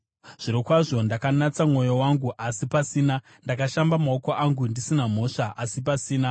Zvirokwazvo ndakanatsa mwoyo wangu, asi pasina; ndakashamba maoko angu ndisina mhosva, asi pasina.